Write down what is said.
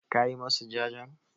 Ka yi masu jajen?